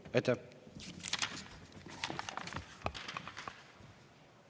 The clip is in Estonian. Aitäh!